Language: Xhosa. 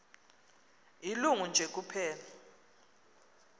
ilungu nje kuphela